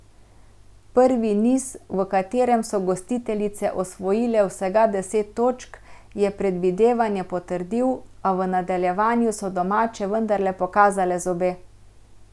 Prvi niz, v katerem so gostiteljice osvojile vsega deset točk, je predvidevanja potrdil, a v nadaljevanju so domače vendarle pokazale zobe.